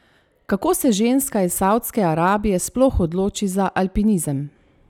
Kako se ženska iz Savdske Arabije sploh odloči za alpinizem?